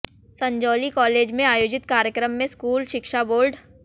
Sanjauli college में आयोजित कार्यक्रम में स्कूल शिक्षा बोर्ड